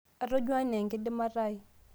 atonyua enaa enkidimata ai